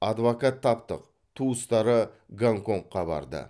адвокат таптық туыстары гонконгқа барды